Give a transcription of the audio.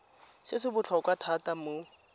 se se botlhokwa thata mo